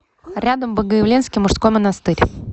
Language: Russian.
рядом богоявленский мужской монастырь